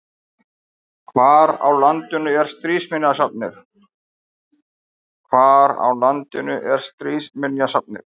Hvar á landinu er Stríðsminjasafnið?